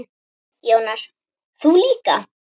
Jónas: Þú líka?